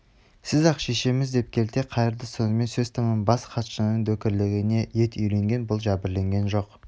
сізсіз-ақ шешеміз деп келте қайырды сонымен сөз тәмам бас хатшының дөкірлігіне ет үйренген бұл жәбірленген жоқ